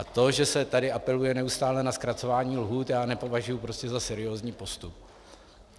A to, že se tady apeluje neustále na zkracování lhůt, já nepovažuji prostě za seriózní postup.